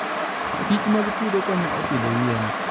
kichmag puodho konyo e pidho yien.